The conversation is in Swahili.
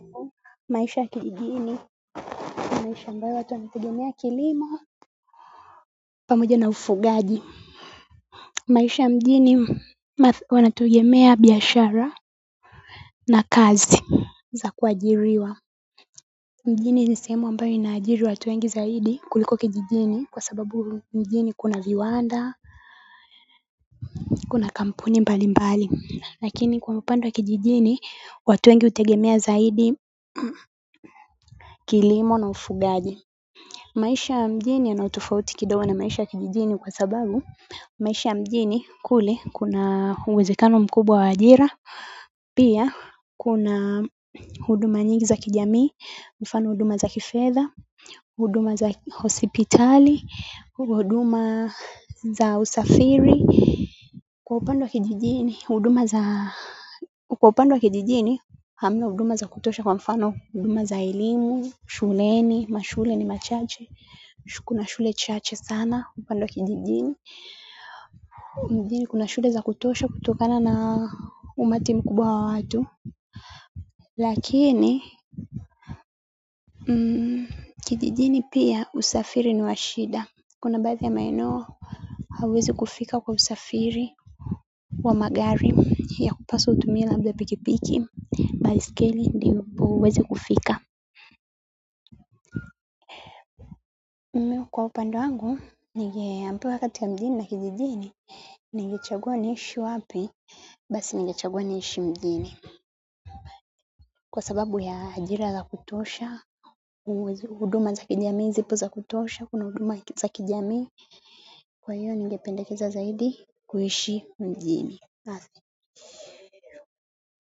Maisha ya kijijini ni maisha ambayo watu wanategemea kilimo pamoja na ufugaji maisha ya mjini wanategemea biashara na kazi za kuajiriwa mjini ni semu ambayo inaajiri watu wengi zaidi kuliko kijijini kwa sababu mjini kuna viwanda kuna kampuni mbalimbali lakini kwa upande wa kijijini watu wengi hutegemea zaidi kilimo na ufugaji maisha ya mjini yana utofauti kidogo na maisha ya kijijini kwa sababu maisha ya mjini kule kuna uwezekano mkubwa wa ajira pia kuna huduma nyingi za kijamii, mfano huduma za kifedha, huduma za hosipitali, huduma za usafiri kwa upande wa kijijini, huduma za kwa upande wa kijijini, hamna huduma za kutosha kwa mfano huduma za elimu, shuleni, mashule ni, machache kuna shule chache sana upande wa kijijini mjini kuna shule za kutosha kutokana na umati mkubwa wa watu lakini kijijini pia usafiri ni wa shida kuna baadhi ya maeneo hauwezi kufika kwa usafiri wa magari yapaswa utumie labda pikipiki baiskeli ndivo uweze kufika mimi kwa upande wangu. Ningeambiwa kati ya mjini na kijijini. Ningechagua niishi wapi basi ningechagua niishi mjini kwa sababu ya ajira za kutosha huduma za kijamii zipo za kutosha kuna huduma za kijami kwa hiyo ningependekeza zaidi kuishi mjini.